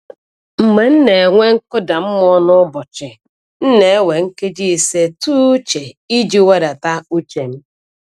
Mgbe m na-enwe nkụda mmụọ n’ụbọchị, m na-ewe nkeji ise tụ uche iji wedata uche m.